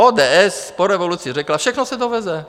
ODS po revoluci řekla: Všechno se doveze.